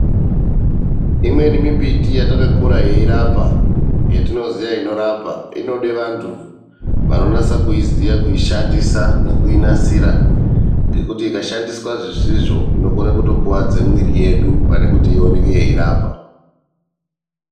Imweni mimbiti yatakakura yeirapa yetinoziya inorapa, inode vantu vanonasa kuyiziva, kuishandisa nekuinasira ngekuti ikashandiswa zvisizvo inokone kutokuwadza mwiiri yedu, pane kuti ioneke yeirapa.